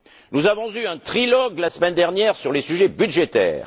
Nous avons eu un trilogue la semaine dernière sur les sujets budgétaires.